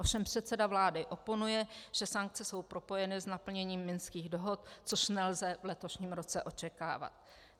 Ovšem předseda vlády oponuje, že sankce jsou propojeny s naplněním Minských dohod, což nelze v letošním roce očekávat.